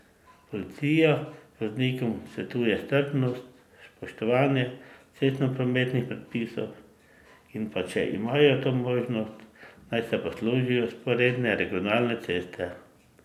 Policija voznikom svetuje strpnost, spoštovanje cestnoprometnih predpisov in pa, če imajo to možnost, naj se poslužijo vzporedne regionalne ceste.